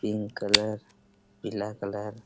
pink colour पीला colour --